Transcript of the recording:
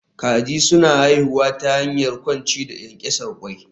Kaji suna haifuwa ta hanyar kwanciya da ƙyanƙyasar ƙwai